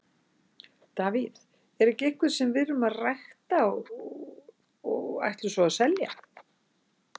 David er ekki einhver sem við erum að rækta og ætlum svo að selja.